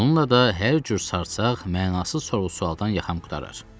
Bununla da hər cür sarsaq, mənasız sorğu-suallardan yaxam qurtarar.